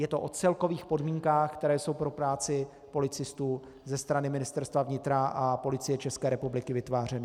Je to o celkových podmínkách, které jsou pro práci policistů ze strany Ministerstva vnitra a Policie České republiky vytvářeny.